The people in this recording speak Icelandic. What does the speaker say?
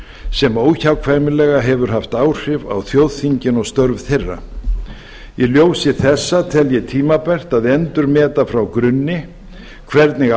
sem óhjákvæmilega hefur haft áhrif á þjóðþingin og störf þeirra í ljósi þessa tel ég tímabært að endurmeta frá grunni hvernig